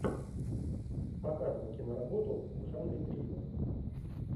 показывай киноработу в жанре триллер